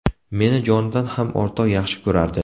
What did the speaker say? Meni jonidan ham ortiq yaxshi ko‘rardi.